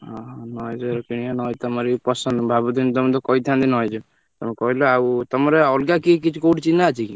ଓହୋ Noise ର କିଣିବା Noise ତମରି ପସନ୍ଦ ଭାବୁଥିଲି ତମକୁ କହିଥାନ୍ତି, Noise ତମେ କହିଲ ଆଉ ତମର ଅଲଗା କିଏ କିଛି କୋଉଠି ଚିହ୍ନା ଅଛି କି?